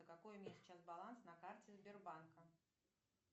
какой у меня сейчас баланс на карте сбербанка